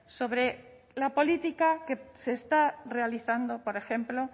sobre la política que se está realizando por ejemplo